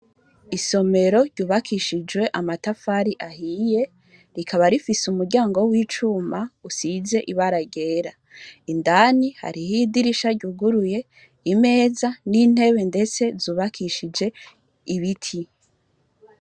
Isomero ryubakishijwe amatafari ahiye rikaba rifise umuryango w'icuma usize ibara ryera, indani hariho idirisha ryuguruye, imeze n'intebe ndetse zubakishije ibiti.